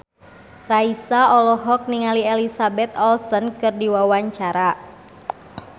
Raisa olohok ningali Elizabeth Olsen keur diwawancara